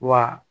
Wa